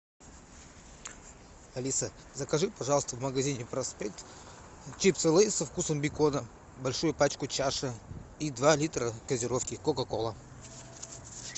алиса закажи пожалуйста в магазине проспект чипсы лейс со вкусом бекона большую пачку чаша и два литра газировки кока кола